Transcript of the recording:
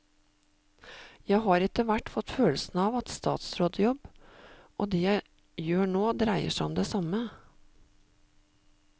Jeg har etterhvert fått følelsen av at statsrådjobb og det jeg gjør nå dreier seg om det samme.